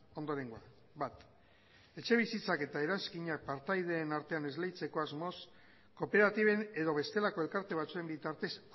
ondorengoa bat etxebizitzak eta eranskina partaideen artean esleitzeko asmoz kooperatiben edo bestelako elkarte batzuen bitartez